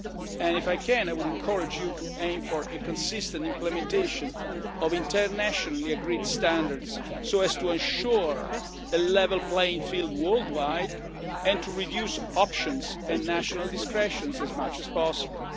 process, and I would encourage you to aim for consistent implementation of the internationally agreed standards, so as to ensure a level playing field worldwide and to reduce options and national discretion as much as possible.